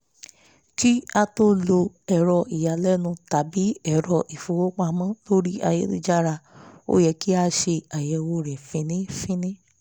kí á á tó lo ẹ̀rọ ìyálẹ́nu tàbí ẹ̀rọ ilé ìfowópamọ́ lórí ayélujára ó yẹ kí á ṣe àyẹ̀wò rẹ̀ fínífíní